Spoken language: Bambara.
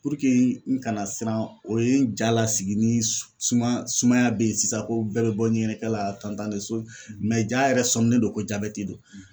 n kana siran o ye n ja lasigi ni s sumaya sumaya be ye sisan ko bɛrɛ bɔ ɲɛgɛnɛkɛ la j'a yɛrɛ sɔminen don ko jabɛti don.